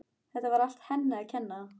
Þetta var allt henni að kenna.